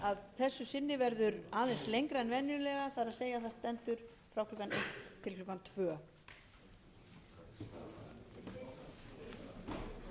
að þessu sinni aðeins lengra en venjulega það er það stendur frá klukkan eitt til klukkan tvö